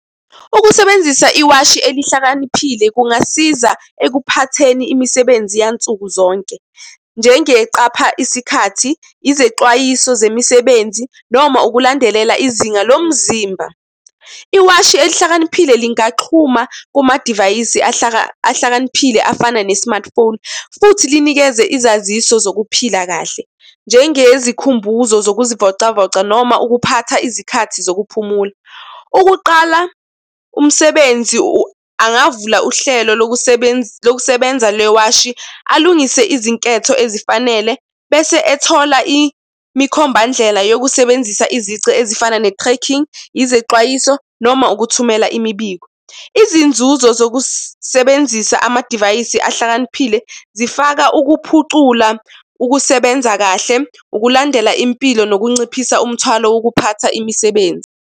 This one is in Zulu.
Ukusebenzisa iwashi elihlakaniphile kungasiza ekuphatheni imisebenzi yansuku zonke, njengeqapha isikhathi, izexwayiso zemisebenzi noma ukulandelela izinga lomzimba. Iwashi elihlakaniphile lingahxuma kumadivayisi ahlakaniphile afana ne-smartphone, futhi linikeze izaziso zokuphila kahle, njengezikhumbuzo zokuzivocavoca noma ukuphatha izikhathi zokuphumula. Ukuqala umsebenzi angavula uhlelo lokusebenza lewashi. Alungise izinketho ezifanele bese ethola imikhombandlela yokusebenzisa izici ezifana ne-cracking, izexwayiso noma ukuthumela imibiko. Izinzuzo zokusebenzisa amadivayisi ahlakaniphile zifaka ukuphucula, ukusebenza kahle, ukulandela impilo, nokunciphisa umthwalo wokuphatha imisebenzi.